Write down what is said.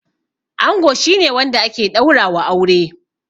Ango shi ne wanda ake ɗaura wa aure